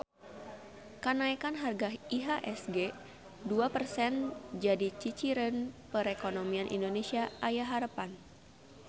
Kanaekan harga IHSG dua persen jadi ciciren perekonomian Indonesia aya harepan